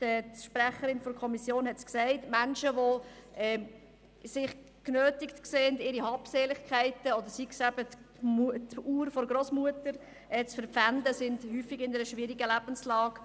Die Sprecherin der Kommission hat es gesagt: Menschen, die sich genötigt sehen, ihre Habseligkeiten wie die Uhr der Grossmutter zu verpfänden, sind häufig in einer schwierigen Lebenslage.